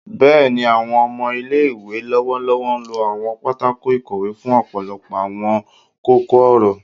Bẹẹni, awọn ọmọ ile-iwe lọwọlọwọ lo Awon patako ikowe fun ọpọlọpọ awọn koko-ọrọ